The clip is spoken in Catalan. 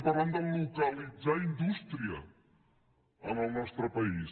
parlem de localitzar indústria en el nostre país